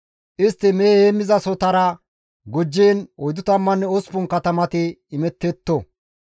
Istti mehe heemmizasohotara gujjiin 48 katamati imettetto.